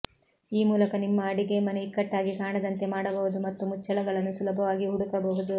ಈ ಮೂಲಕ ನಿಮ್ಮ ಅಡಿಗೆಮನೆ ಇಕ್ಕಟ್ಟಾಗಿ ಕಾಣದಂತೆ ಮಾಡಬಹುದು ಮತ್ತು ಮುಚ್ಚಳಗಳನ್ನು ಸುಲಭವಾಗಿ ಹುಡುಕಬಹುದು